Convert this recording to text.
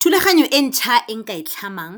Thulaganyo e ntšha e nka e tlhamang